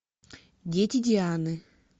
дети дианы